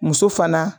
Muso fana